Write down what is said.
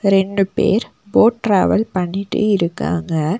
ரெண்டு பேர் boat travel பண்ணிட்டு இருக்காங்க.